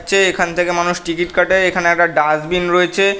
যে এখান থেকে মানুষ টিকিট কাটে এখানে একটা ডাস্টবিন রয়েছে।